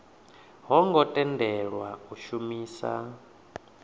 ho ngo tendelwa u shumisa